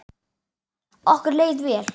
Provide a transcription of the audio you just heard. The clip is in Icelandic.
Okkur leið vel.